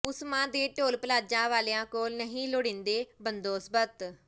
ਉਸਮਾਂ ਦੇ toll plaza ਵਾਲਿਆਂ ਕੋਲ ਨਹੀਂ ਲੋੜੀਂਦੇ ਬੰਦੋਬਸਤ